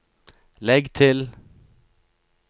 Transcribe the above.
legg til